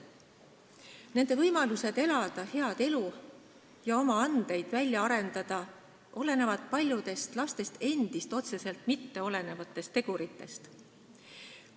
Nende võimalused elada head elu ja oma andeid välja arendada olenevad paljudest, lastest endist otseselt mittesõltuvatest teguritest.